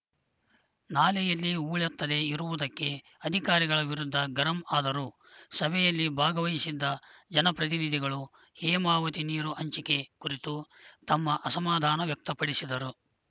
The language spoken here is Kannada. ನಾಲೆಯಲ್ಲಿ ಹೂಳೆತ್ತದೇ ಇರುವುದಕ್ಕೆ ಅಧಿಕಾರಿಗಳ ವಿರುದ್ಧ ಗರಂ ಆದರು ಸಭೆಯಲ್ಲಿ ಭಾಗವಹಿಸಿದ್ದ ಜನಪ್ರತಿನಿಧಿಗಳು ಹೇಮಾವತಿ ನೀರು ಹಂಚಿಕೆ ಕುರಿತು ತಮ್ಮ ಅಸಮಾಧಾನ ವ್ಯಕ್ತಪಡಿಸಿದರು